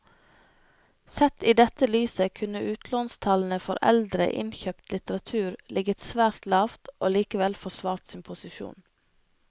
Sett i dette lyset kunne utlånstallene for eldre innkjøpt litteratur ligget svært lavt og likevel forsvart sin posisjon.